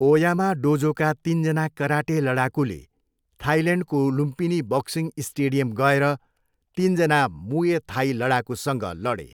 Oyama डोजोका तिनजना karate लडाकुले थाइल्यान्डको लुम्पिनी बक्सिङ स्टेडियम गएर तिनजना मुए थाई लडाकुसँग लडे।